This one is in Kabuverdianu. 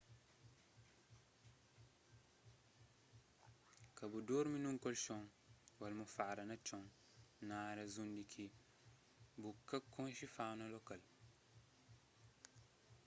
ka bu durmi nun kolkon ô almofada na txon na árias undi ki bu ka konxe fauna lokal